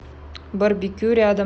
барбекю рядом